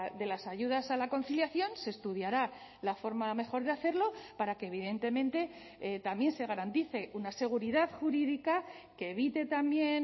de las ayudas a la conciliación se estudiará la forma mejor de hacerlo para que evidentemente también se garantice una seguridad jurídica que evite también